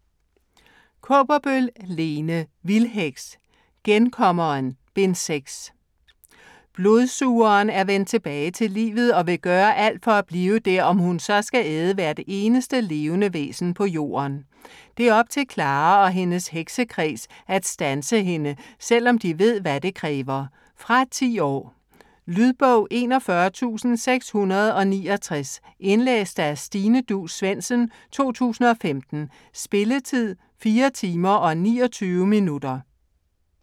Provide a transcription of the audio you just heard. Kaaberbøl, Lene: Vildheks: Genkommeren: Bind 6 Blodsugeren er vendt tilbage til livet og vil gøre alt for at blive der, om hun så skal æde hvert eneste levende væsen på jorden. Det er op til Clara og hendes heksekreds at standse hende, selvom de ved hvad det kræver. Fra 10 år. Lydbog 41669 Indlæst af Stine Duus Svendsen, 2015. Spilletid: 4 timer, 29 minutter.